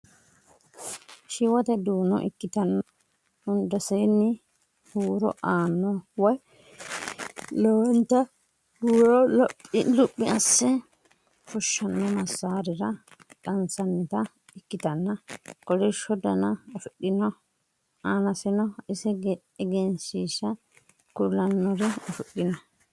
Shiwote duuno ikkitanna hundaseenni huuro aanno woy lowonta huuro luphi asses fushshanno massaarira qansannita ikkitanna kolishsho Dana afidhino annaseno ise egensiishsha kulannore afidhino